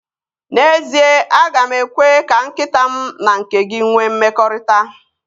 N'ezie, aga m ekwe ka nkịta m na nke gị nwee mmekọrịta